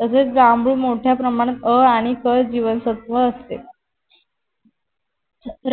तसेच जांभूळ मोठ्या प्रमाणात अ आणि क जीवनसत्व असते.